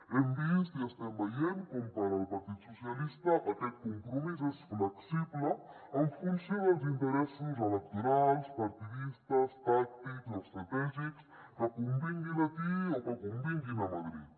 hem vist i estem veient com per al partit socialista aquest compromís és flexible en funció dels interessos electorals partidistes tàctics o estratègics que convinguin aquí o que convinguin a madrid